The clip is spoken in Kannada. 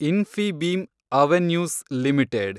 ಇನ್ಫಿಬೀಮ್ ಅವೆನ್ಯೂಸ್ ಲಿಮಿಟೆಡ್